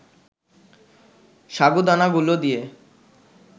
সাগুদানাগুলো দিয়ে